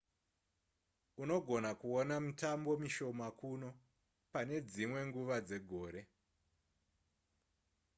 unogona kuona mitambo mishoma kuno pane dzimwe nguva dzegore